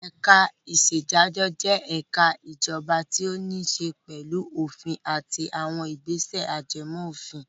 Ẹ̀ka-ìṣèdájọ́ jẹ́ ẹ̀ka ìjọba tó níṣe pẹ̀lú òfin àti àwọn ìgbésẹ̀ ajẹmófin.